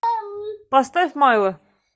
поставь майло